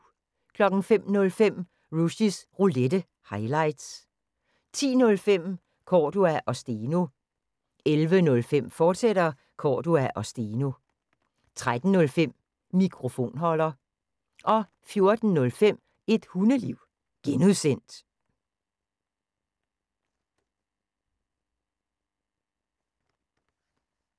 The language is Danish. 05:05: Rushys Roulette – highlights 10:05: Cordua & Steno 11:05: Cordua & Steno, fortsat 13:05: Mikrofonholder 14:05: Et Hundeliv (G)